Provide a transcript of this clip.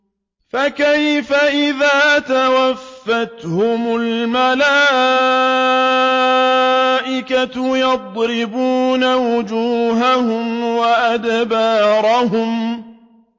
فَكَيْفَ إِذَا تَوَفَّتْهُمُ الْمَلَائِكَةُ يَضْرِبُونَ وُجُوهَهُمْ وَأَدْبَارَهُمْ